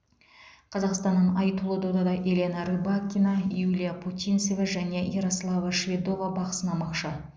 қазақстаннан айтулы додада елена рыбакина юлия путинцева және ярослава шведова бақ сынамақшы